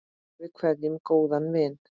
Við kveðjum góðan vin.